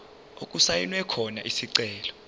okusayinwe khona isicelo